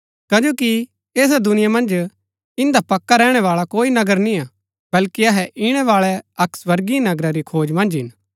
कजो कि ऐसा दुनिया मन्ज ईदंआ पक्का रैहणै बाळा कोई नगर निआं बल्कि अहै ईणैबाळै अक्क स्वर्गीय नगरा री खोज मन्ज हिन